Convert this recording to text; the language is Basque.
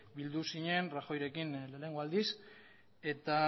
bildu zinen rajoyrekin lehenengo aldiz eta